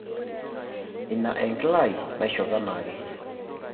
Ina enkila ai naishop enaake